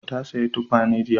Ta saya tukwane jiya